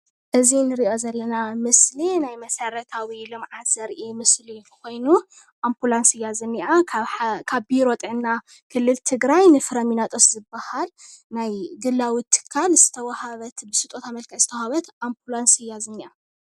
እዚ ንሪኦ ዘለና ምስሊ ናይ መሰረታዊ ልምዓት ዘርኢ ምስሊ ኮይኑ ኣምፑላንስ እያ ዝኒኣ፡፡ ካብ ቢሮ ጥዕና ክልል ትግራይ ንፍሬምናጦስ ዝበሃል ናይ ግላዊ ትካል ዝተዋህበት ብስጦታ መልክዕ ዝተዋህበት ኣምፑላንስ እያ ዝኒኣ፡፡